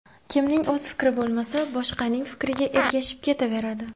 Kimning o‘z fikri bo‘lmasa, boshqaning fikriga ergashib ketaveradi.